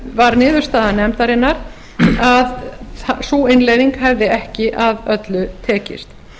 var niðurstaða nefndarinnar að sú innleiðing hefði ekki að öllu tekist